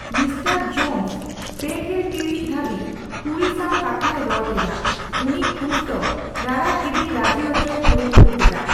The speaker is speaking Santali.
ᱢᱤᱥᱴᱟᱨ ᱡᱳᱱᱥ ᱯᱮᱜᱮᱞ ᱴᱤᱲᱤᱡ ᱫᱷᱟᱹᱵᱤᱡ ᱠᱩᱲᱤ ᱥᱟᱣ ᱠᱟᱛᱷᱟᱭ ᱨᱚᱲ ᱠᱮᱫᱟ, ᱩᱱᱤ ᱠᱨᱩᱥ ᱫᱚ ᱨᱟᱲᱟ ᱜᱤᱰᱤᱭ ᱨᱟᱹᱡᱤ ᱚᱪᱚᱭᱮ ᱠᱩᱨᱩᱢᱩᱴᱩ ᱠᱮᱫᱟ ᱾